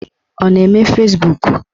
Ọ na-eme Fezbuk?